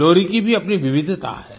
लोरी की भी अपनी विविधता है